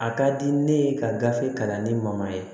A ka di ne ye ka gafe kalan ni ma ye